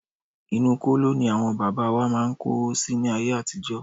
Inú kóló ní àwọn bàbá wa máà ń kówó si láyé àtijọ́.